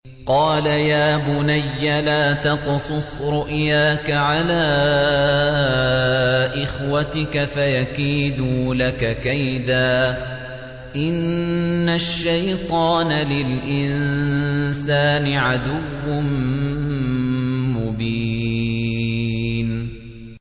قَالَ يَا بُنَيَّ لَا تَقْصُصْ رُؤْيَاكَ عَلَىٰ إِخْوَتِكَ فَيَكِيدُوا لَكَ كَيْدًا ۖ إِنَّ الشَّيْطَانَ لِلْإِنسَانِ عَدُوٌّ مُّبِينٌ